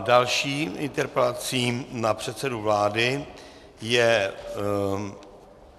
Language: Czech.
Další interpelací na předsedu vlády je